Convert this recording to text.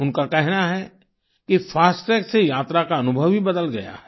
उनका कहना है कि फास्टैग से यात्रा का अनुभव ही बदल गया है